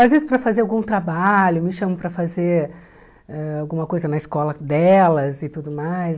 Às vezes para fazer algum trabalho, me chamam para fazer ãh alguma coisa na escola delas e tudo mais.